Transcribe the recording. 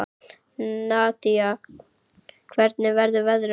Nadia, hvernig verður veðrið á morgun?